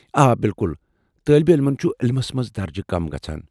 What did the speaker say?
آ، بِالکل، طٲلب علمن چُھ علمس منٛز درجہ كم گژھان ۔